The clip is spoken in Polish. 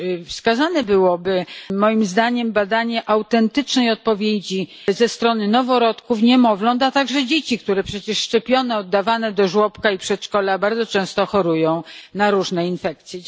Wskazane byłoby, moim zdaniem, badanie autentycznej odpowiedzi ze strony organizmu noworodków, niemowląt, a także dzieci, które przecież choć są szczepione, to oddawane do żłobka i przedszkola bardzo często chorują na różne infekcje.